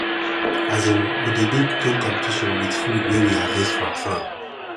um we dey do cooking competition with food wey we harvest from farm